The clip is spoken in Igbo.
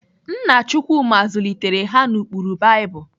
Nna Chukwuma zụlitere ha n'ụkpụrụ Baịbụl.